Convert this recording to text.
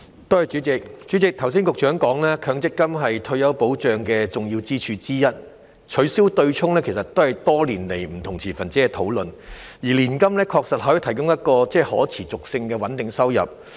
代理主席，剛才局長說強積金是退休保障的重要支柱之一，取消"對沖"其實是不同持份者多年來討論的焦點，而年金確實可以提供具可持續性的穩定收入。